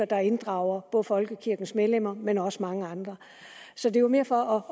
bare inddrager folkekirkens medlemmer men også mange andre så det var mere for